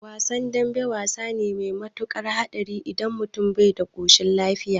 Wasan dambe wasa ne mai matukar hatsari idan mutum bai da koshin lafiya